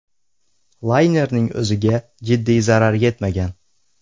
Laynerning o‘ziga jiddiy zarar yetmagan.